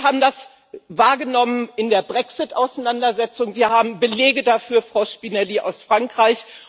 Wir haben das wahrgenommen in der Brexit Auseinandersetzung, wir haben Belege dafür, Frau Spinelli, aus Frankreich.